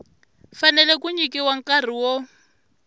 fanele ku nyikiwa nkarhi wo